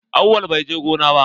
Awwal bai je gona ba.